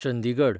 Chandigarh